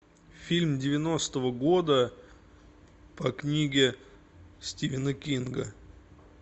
фильм девяностого года по книге стивена кинга